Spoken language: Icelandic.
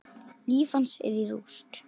Líf hans er í rúst.